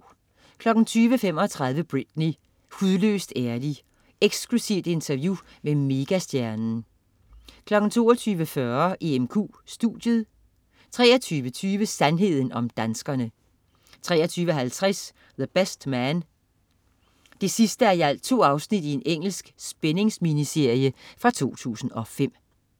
20.35 Britney. Hudløst ærlig. Eksklusivt interview med megastjernen 22.40 EMQ studiet 23.20 Sandheden om danskerne 23.50 The Best Man 2:2. Engelsk spændingsminiserie fra 2005